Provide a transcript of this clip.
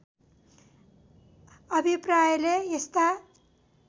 अभिप्रायले यस्ता